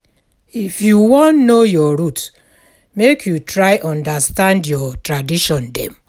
If you wan know your root, make you try understand your tradition dem.